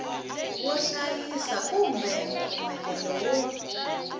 wo hlayisa kumbe mpfumelelo wo